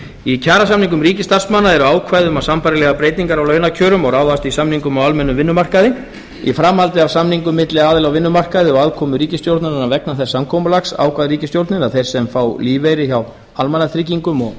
í kjarasamningum ríkisstarfsmanna eru ákvæði um sambærilegar breytingar á launakjörum og ráðast í samningum á almennum vinnumarkaði í framhaldi af samningum milli aðila á vinnumarkaði og aðkomu ríkisstjórnarinnar vegna þess samkomulags ákvað ríkisstjórnin að þeir sem fá lífeyri hjá almannatryggingum og